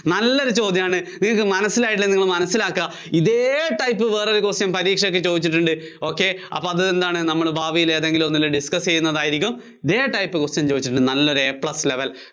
നല്ലൊരു ചോദ്യാണ്, ഇത് മനസ്സിലായില്ലെങ്കില്‍ നിങ്ങള്‍ മനസ്സിലാക്കാ. ഇതേ type വേറൊരു question പരീക്ഷക്ക് ചോദിച്ചിട്ടുണ്ട്. ok അപ്പോ അത് എന്താണ്, നമ്മള് ഭാവിയില്‍ എന്തെങ്കിലും ഒന്നില്‍ discuss ചെയ്യുന്നതായിരിക്കും, ഇതേ type question ചോദിച്ചിട്ട് നല്ലൊരു A plus level